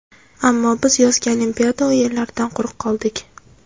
Ammo biz yozgi Olimpiada o‘yinlaridan quruq qoldik.